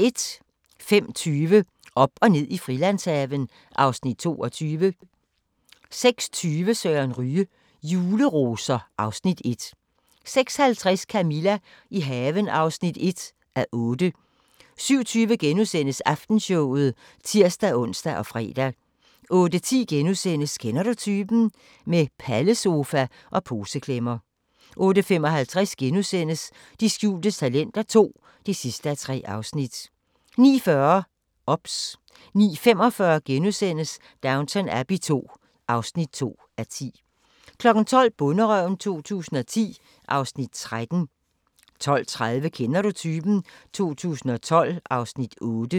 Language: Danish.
05:20: Op og ned i Frilandshaven (Afs. 22) 06:20: Søren Ryge: Juleroser (Afs. 1) 06:50: Camilla – i haven (1:8) 07:20: Aftenshowet *(tir-ons og fre) 08:10: Kender du typen? – Med pallesofa og poseklemmer * 08:55: De skjulte talenter II (3:3)* 09:40: OBS 09:45: Downton Abbey II (2:10)* 12:00: Bonderøven 2010 (Afs. 13) 12:30: Kender du typen? 2012 (Afs. 8)